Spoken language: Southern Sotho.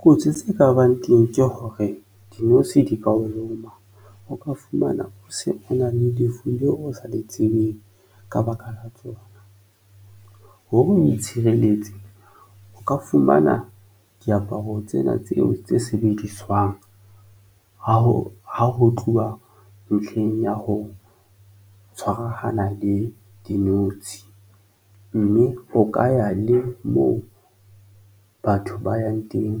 Kotsi tse ka bang teng ke hore dinotshi di ka o loma. O ka fumana o se o na le lefu leo o sa le tsebeng ka baka la tsona. Hore o itshireletse o ka fumana diaparo tsena tseo tse sebediswang ha ho tluwa ntlheng ya ho tshwarahana le dinotshi, mme o ka ya le moo batho ba yang teng